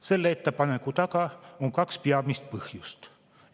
Selle ettepaneku taga on kaks peamist põhjust.